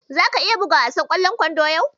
Zaka iya buga wasan ƙwallon kwandon yau?